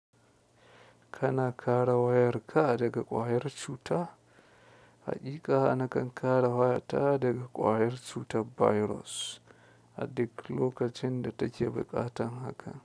Kana kare wayarka daga ƙwayar cuta? Haƙiƙa, na kan kare waya ta daga ƙwayar cutar virus a duk lokacin da take buƙatan haka.